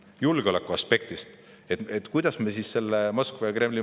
Kuidas me julgeoleku aspektist võetuna Moskva ja Kremli mõju vähendame?